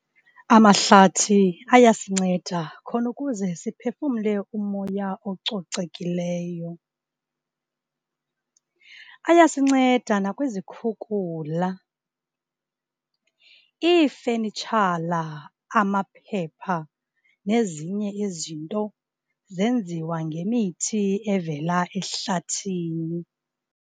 Amahlathi ayasinceda, khona ukuze siphefumle umoya ococekileyo. Ayasinceda nakwizikhukhula, iifenitshala, amaphepha, nezinye izinto zenziwa ngemithi evela ehlathini.